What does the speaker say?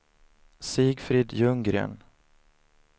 Sigfrid Ljunggren